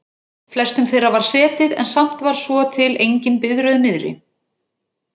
flestum þeirra var setið en samt var svo til engin biðröð niðri.